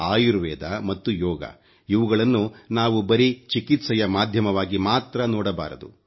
ಆಯುರ್ವೇದ ಮತ್ತು ಯೋಗ ಇವುಗಳನ್ನು ನಾವು ಬರೀ ಚಿಕಿತ್ಸೆಯ ಮಾಧ್ಯಮವಾಗಿ ಮಾತ್ರ ನೋಡಬಾರದು